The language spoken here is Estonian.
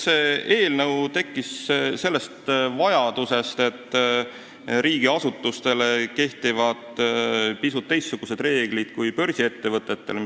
See eelnõu tekkis seetõttu, et riigiasutustele kehtivad pisut teistsugused reeglid kui börsiettevõtetele.